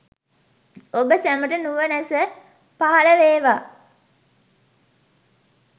ඔබ සැමට නුවැනස පහළ වේවා